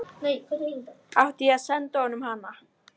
Friðgerður, hvað er opið lengi á mánudaginn?